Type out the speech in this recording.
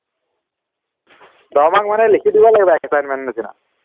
দহ mark মানে লিখি দিব লাগিব assignment নিচিনা